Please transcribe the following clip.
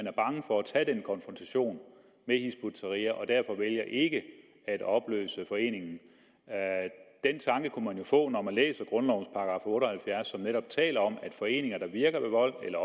er bange for at tage den konfrontation med hizb ut tahrir og derfor vælger ikke at opløse foreningen den tanke kunne man jo få når man læser grundlovens § otte og halvfjerds som netop taler om at foreninger der virker ved vold eller